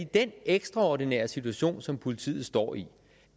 den ekstraordinære situation som politiet står i